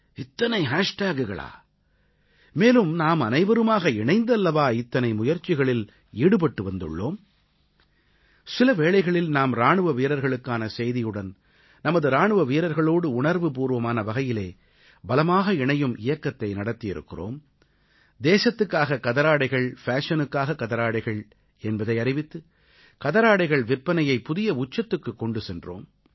இத்தனை ஹேஷ் டேகுகளா மேலும் நாமனைவருமாக இணைந்து அல்லவா இத்தனை முயற்சிகளில் ஈடுபட்டு வந்துள்ளோம் சில வேளைகளில் நாம் இராணுவ வீரர்களுக்கான செய்தியுடன் நமது இராணுவ வீரர்களோடு உணர்வுபூர்வமான வகையிலே பலமாக இணையும் இயக்கத்தை நடத்தியிருக்கிறோம் தேசத்துக்காக கதராடைகள் ஃபேஷனுக்காக கதராடைகள் என்பதை அறிவித்து கதராடைகள் விற்பனையை புதிய உச்சத்துக்குக் கொண்டு சென்றோம்